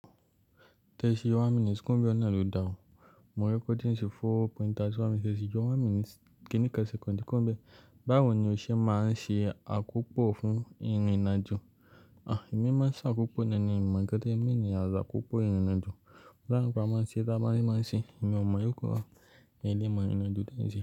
Ti ẹ ṣe yọ one minute kuro n bẹ́ẹ̀ nàa lo da o. Mo recording sí four point thirty one minutes, tẹsi yọ one minute ki ní kan second ku ro n bẹ́ẹ̀. Báwo ni o ṣe máa ń ṣe àkópọ fún ìrìnajo? À, èmi máa ń ṣe àkópọ nọni, mi o mọ nkan tẹ mean as àkopọ ìrìnajo. Ọ̀la nǹkan a máa ṣe, tí a bá ṣe máa ṣe, èmi ò mọ̀ yó kọ́, èyí ni ìmọ̀ ìrìn-àjò tẹ́ẹ̀ ń ṣe.